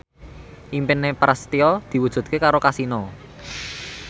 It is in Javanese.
impine Prasetyo diwujudke karo Kasino